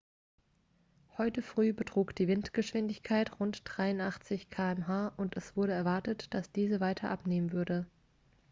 heute früh betrug die windgeschwindigkeit rund 83 km/h und es wurde erwartet dass diese weiter abnehmen würde